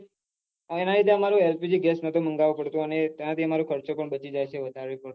એમાં LPG gas મંગાવતો પડતો તેનાથી આમારો ખર્ચો બચી જાય છે